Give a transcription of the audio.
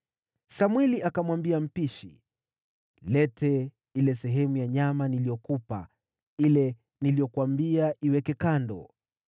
Samweli akamwambia mpishi, “Leta ile sehemu ya nyama niliyokupa, ile niliyokuambia iweke kando.”